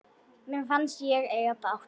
Mér fannst ég eiga bágt.